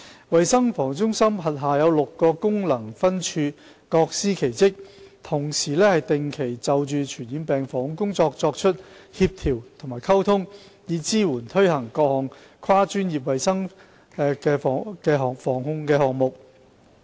衞生防護中心轄下有6個功能分處，各司其職，同時定期就着傳染病防控工作作出協調及溝通，以支援和推行各項跨專業衞生防護項目。